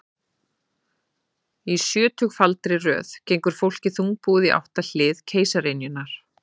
Í sjötugfaldri röð gengur fólkið þungbúið í átt að hliði keisaraynjunnar.